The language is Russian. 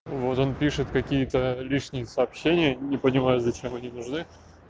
вот он пишет какие-то личные сообщения не понимаю зачем они нужны